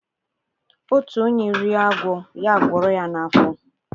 Otu onye rie agwo, ya agworo ya n’afo